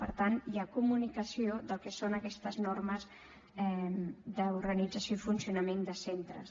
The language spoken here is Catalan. per tant hi ha comunicació del que són aquestes normes d’organització i funcionament de centres